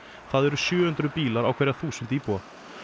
það eru sjö hundruð bílar á hverja þúsund íbúa